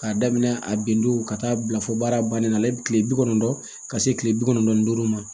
K'a daminɛ a bendo ka taa bila fo baara bannen na ale bɛ kile bi kɔnɔntɔn ka se kile bi kɔnɔntɔn ni duuru ma